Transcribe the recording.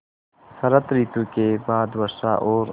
शरत ॠतु के बाद वर्षा और